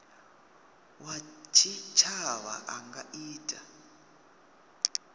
wa tshitshavha a nga ita